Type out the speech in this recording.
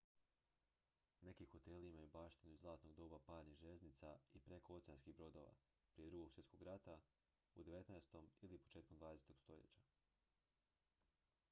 neki hoteli imaju baštinu iz zlatnog doba parnih željeznica i prekooceanskih brodova prije drugog svjetskog rata u 19. ili početkom 20. stoljeća